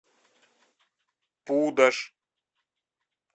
пудож